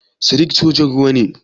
Sadiq sojan ruwa ne?